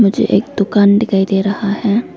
मुझे एक दुकान दिखाई दे रहा है।